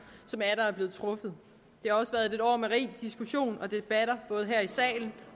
der er blevet truffet det har også været et år med rig diskussion og debatter både her i salen